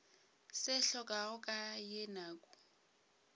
se hlokago ka ye nako